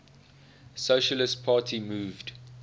socialist party moved